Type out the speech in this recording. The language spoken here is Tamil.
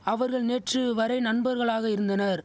அவர்கள் நேற்றூ வரை நண்பர்களாக இருந்தனர்